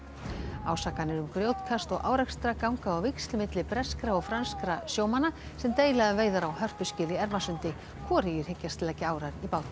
ásakanir um grjótkast og árekstra ganga á víxl milli breskra og franskra sjómanna sem deila um veiðar á hörpuskel í Ermarsundi hvorugir hyggjast leggja árar í bát